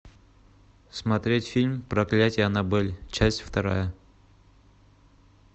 смотреть фильм проклятие аннабель часть вторая